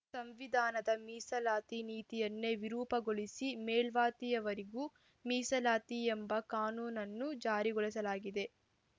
ಸಂವಿಧಾನದ ಮೀಸಲಾತಿ ನೀತಿಯನ್ನೇ ವಿರೂಪಗೊಳಿಸಿ ಮೇಲ್ಜಾತಿಯವರಿಗೂ ಮೀಸಲಾತಿ ಎಂಬ ಕಾನೂನನ್ನು ಜಾರಿಗೊಳಿಸಲಾಗಿದೆ